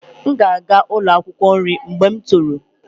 M ga-aga ụlọ akwụkwọ nri mgbe m toro